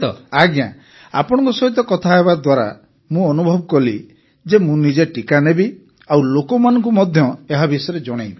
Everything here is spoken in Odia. ଆଜ୍ଞା ଆଜ୍ଞା ଆପଣଙ୍କ ସହିତ କଥା ହେବା ଦ୍ୱାରା ମୁଁ ଅନୁଭବ କଲି ଯେ ମୁଁ ନିଜେ ଟିକା ନେବି ଆଉ ଲୋକମାନଙ୍କୁ ମଧ୍ୟ ଏହା ବିଷୟରେ ଜଣେଇବି